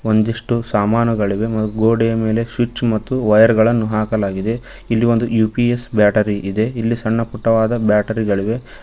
ಒಂದಿಷ್ಟು ಸಾಮಾನುಗಳಿಗೆ ಮತ್ತು ಗೋಡೆಯ ಮೇಲೆ ಸ್ವಿಚ್ ಮತ್ತು ವೈರ್ ಗಳನ್ನು ಹಾಕಲಾಗಿದೆ ಇಲ್ಲಿ ಒಂದು ಯು_ಪಿ_ಎಸ್ ಬ್ಯಾಟರಿ ಇದೆ ಇಲ್ಲಿ ಸಣ್ಣಪುಟ್ಟವಾದ ಬ್ಯಾಟರಿ ಗಳಿವೆ.